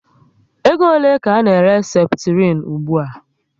Ego ole ka a n'ere Seputirin ugbua?